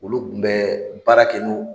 Olu kun bɛ baara kɛ